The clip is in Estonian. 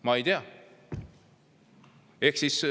Ma ei tea.